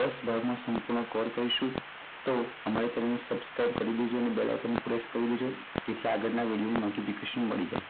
દસ ભાગમાં સંપૂર્ણ કવર કરીશું કહીશું. અમારી ચેનલ subscribe કરી દેજો અને bell icon પર press કરી દેજો જેથી આગળ ના વિડિઓની notification મળી જાય.